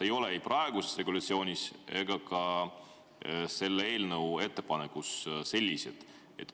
ei ole ei praeguses regulatsioonis ega ka selles eelnõus sellised.